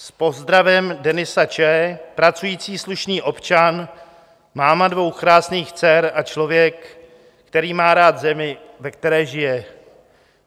S pozdravem Denisa Č., pracující slušný občan, máma dvou krásných dcer a člověk, který má rád zemi, ve které žije.